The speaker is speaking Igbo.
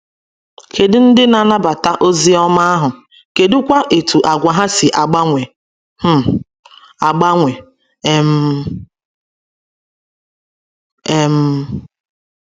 Kedụ ndị na - anabata ozi ọma ahụ, kedụ kwa etú àgwà ha si agbanwe um agbanwe um? um